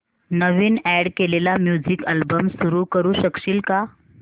नवीन add केलेला music album सुरू करू शकशील का